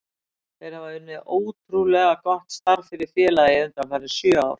Þeir hafa unnið ótrúlega gott starf fyrir félagið undanfarin sjö ár.